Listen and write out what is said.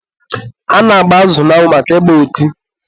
a na-agba azụ n'anwụ maka ị gba ọtị.